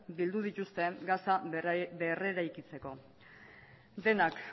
bildu dituzte gaza berreraikitzeko denak